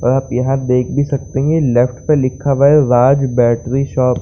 आप यहाँ देख भी सकते है लेफ्ट पर लिखा हुआ है राज बैटरी शॉप ।